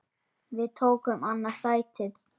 Við tókum annað sætið.